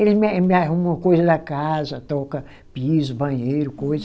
Eles me me arrumam coisa da casa, troca piso, banheiro, coisa.